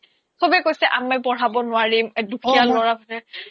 সবেই কৈছে পঢ়াব নোৱাৰিম দুখীয়া লৰা